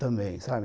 Também, sabe?